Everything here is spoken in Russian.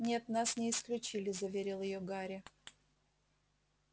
нет нас не исключили заверил её гарри